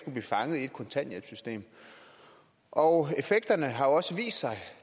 fanges i et kontanthjælpssystem og effekterne har også vist sig